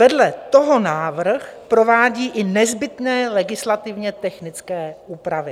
Vedle toho návrh provádí i nezbytné legislativně technické úpravy.